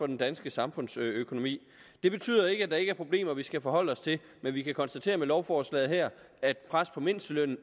den danske samfundsøkonomi det betyder ikke at der ikke er problemer vi skal forholde os til men vi kan konstatere med lovforslaget her at pres på mindstelønnen